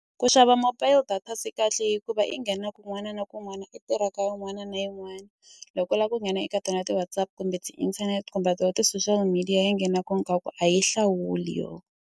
Ku xava mobile data se kahle hikuva i nghena kun'wana na kun'wana i tirha ka yin'wana na yin'wana loko u lava ku nghena eka tona ti-Whatsapp kumbe ti-internet kumbe to ka ti-social media ya nghena a yi hlawuli yo.